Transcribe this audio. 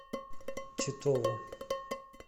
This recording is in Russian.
титову